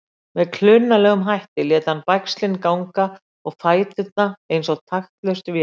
Með klunnalegum hætti lét hann bægslin ganga og fæturnir eins og taktlaus vél.